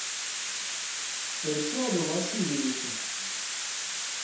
эльшаду васильевичу